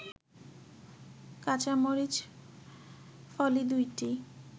কাঁচামরিচ ফলি ২টি